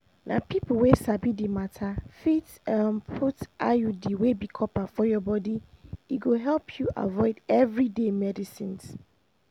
na people wey sabi the matter fit um put iud wey be copper for your body e go help you avoid everyday medicines